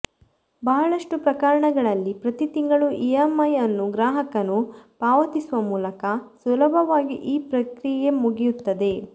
ಬಹಳಷ್ಟು ಪ್ರಕರಣಗಳಲ್ಲಿ ಪ್ರತಿ ತಿಂಗಳು ಇಎಂಐ ಅನ್ನು ಗ್ರಾಹಕನು ಪಾವತಿಸುವ ಮೂಲಕ ಸುಲಭವಾಗಿ ಈ ಪ್ರಕ್ರಿಯೆ ಮುಗಿಯುತ್ತದೆ